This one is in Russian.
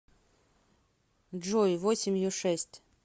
джой восемью шесть